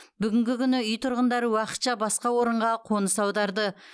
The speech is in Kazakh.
бүгінгі күні үй тұрғындары уақытша басқа орынға қоныс аударды